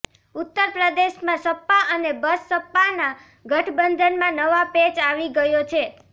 ઉત્તર પ્રદેશમાં સપા અને બસપાના ગઠબંધનમાં નવા પેંચ આવી ગયો છે